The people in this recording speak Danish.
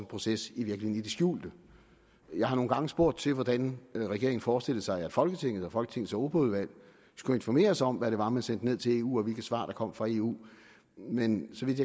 proces i det skjulte jeg har nogle gange spurgt til hvordan regeringen forestillede sig at folketinget og folketingets europaudvalg skulle informeres om hvad det var man sendte ned til eu og hvilke svar der kom fra eu men så vidt